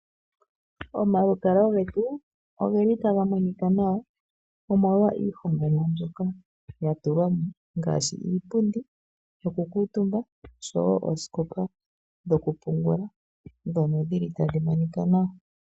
Omalukalwa getu ogeli taga monika nawa omolwa iihongomwa mbyoka ya tulwamo ngaashi Iipundi yo ku kuutumba Oshowo oosikopa dhokupungula ndhono dhili tadhi monika nawa.